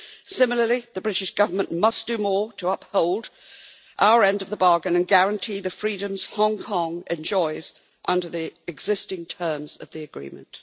Similarly, the British Government must do more to uphold our end of the bargain and guarantee the freedoms Hong Kong enjoys under the existing terms of the agreement.